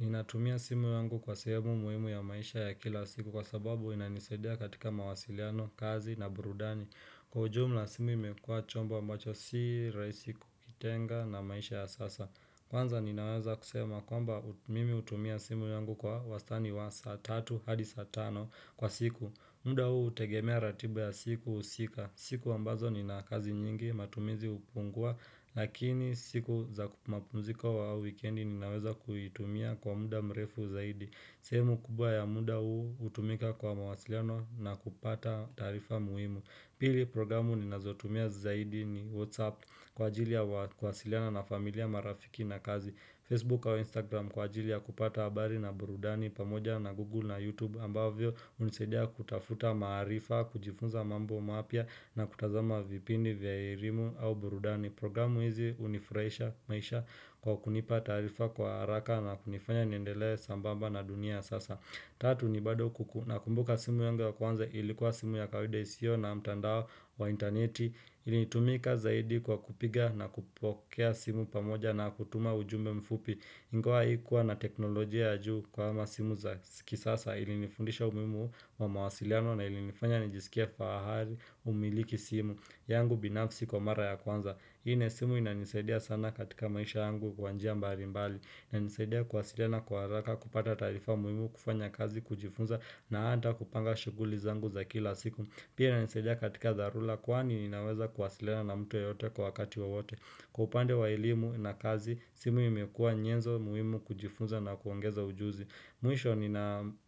Ninatumia simu yangu kwa sehemu muhimu ya maisha ya kila siku kwa sababu inanisadia katika mawasiliano, kazi na burudani Kwa ujumula simu imekuwa chombo mbacho si raisi kukitenga na maisha ya sasa Kwanza ninaweza kusema kwamba mimi utumia simu yungu kwa wastani wa saa tatu hadi saa tano kwa siku muda huu hutegemea ratiba ya siku husika, siku ambazo ni na kazi nyingi matumizi hupungua lakini siku za mapumziko au wikendi ninaweza kuitumia kwa muda mrefu zaidi, sehemu kubwa ya muda huu hutumika kwa mawasiliano na kupata taarifa muhimu Pili programu ninazotumia zaidi ni Whatsapp kwa ajili ya kuwasiliana na familia marafiki na kazi Facebook au Instagram kwa ajilia kupata habari na burudani pamoja na Google na YouTube ambavyo hunisadia kutafuta maharifa, kujifunza mambo mapya na kutazama vipindi vya elimu au burudani. Programu hizi hunifurahisha maisha kwa kunipa taarifa kwa haraka na kunifanya niendelee sambamba na dunia ya sasa. Tatu ni bado kuku nakumbuka simu yunga ya kwanza ilikuwa simu ya kawaida isio na mtandao wa interneti. Ilitumika zaidi kwa kupiga na kupokea simu pamoja na kutuma ujumbe mfupi. Ingawa haikuwa na teknolojia ya juu kama simu za kisasa ilinifundisha umuhimu wa mawasiliano na ilinifanya nijisikia fahali kumiliki simu yangu binafsi kwa mara ya kwanza. Hii na simu inanisaidia sana katika maisha yangu kwa njia mbali inanisadia kuwasiliana kwa haraka kupata taarifa muhimu kufanya kazi kujifunza na hata kupanga shughuli zangu za kila siku. Pia inanisedia katika tharura kwani ninaweza kuwasiliana na mtu yeyote kwa wakati wowote. Kwa upande wa elimu na kazi, simu imekua nyenzo muhimu kujifunza na kuongeza ujuzi. Mwisho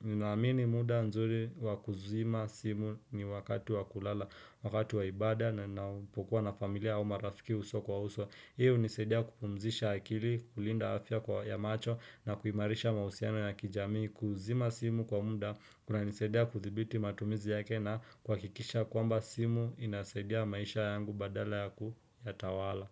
ninaamini muda nzuri wakuzima simu ni wakati wakulala, wakati wa ibaada na ninapokuwa na familia au marafiki uso kwa uso. Hiyo hunisaidia kupumzisha akili, kulinda afya kwa ya macho na kuhimarisha mahusiano ya kijamii. Kuzima simu kwa muda, kuna nisaidia kuthibiti matumizi yake na kwa kikisha kwamba simu inasaidia maisha yangu badala ya kuyatawala.